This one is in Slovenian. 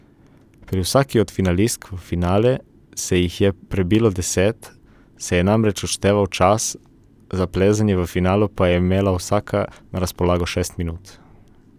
Pri vsaki od finalistk, v finale se jih je prebilo deset, se je namreč odšteval čas, za plezanje v finalu pa je imela vsaka na razpolago šest minut.